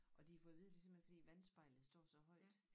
Og de har fået at vide det simpelthen fordi vandspejlet det står så højt